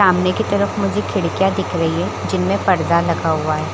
सामने की तरफ मुझे खिड़कियाँ दिख रही है जिनमे पर्दा लगा हुआ है।